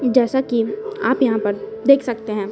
जैसा कि आप यह पर देख सकते हैं।